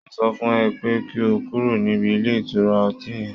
Mo sọ fún ẹ pé kí o kúrò níbi ilé ìtura ọtí yẹn